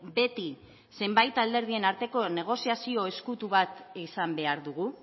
beti zenbait alderdien arteko negoziazio ezkutu bat izan behar dugu